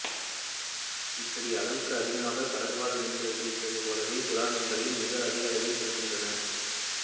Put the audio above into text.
இப்படி அளவுக்கு அதிகமாக கடல்வாழ் மீன்களைப் பிடிப்பது போலவே சுறா மீன்களையும் மிக அதிக அளவில் பிடிகிக்கின்றனர்